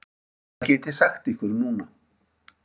Hvað get ég sagt ykkur núna?